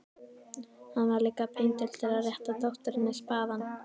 Hann var líka píndur til að rétta dótturinni spaðann.